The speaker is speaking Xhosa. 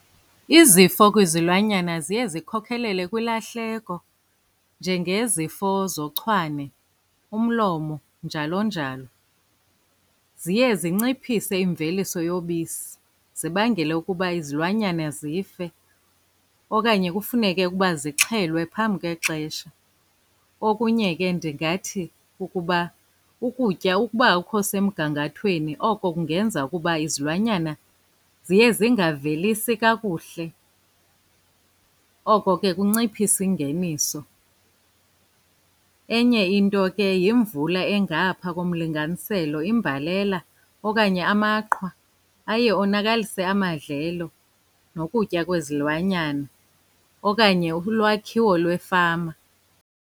Izifo kwizilwanyana ziye zikhokhelele kwilahleko, njengezifo zochwane, umlomo, njalo njalo. Ziye zinciphise imveliso yobisi, zibangele ukuba izilwanyana zife okanye kufuneke ukuba zixhelwe phambi kwexesha. Okunye ke, ndingathi ukuba ukutya ukuba akukho semgangathweni oko kungenza ukuba izilwanyana ziye zingavelisi kakuhle, oko ke kunciphisa ingeniso. Enye into ke yimvula engapha komlinganiselo, imbalela, okanye amaqhwa aye onakalise amadlelo nokutya kwezilwanyana okanye ulwakhiwo lwefama.